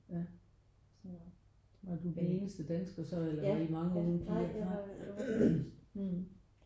Ja var du den eneste dansker så eller var I mange unge piger?